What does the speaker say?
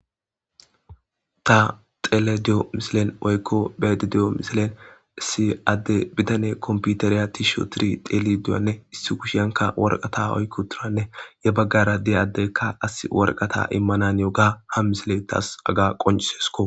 ta xelediyo misilen woykko bedediyo misilen si adde bidane komputereya tiisho tiri teliduyanne issi kushiyanka warqata oykko turanne ya baggara deyaddekka as warqata immanan yoga ha misile taas aga qoncisesko